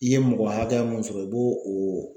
I ye mɔgɔ hakɛya mun sɔrɔ i b'o o.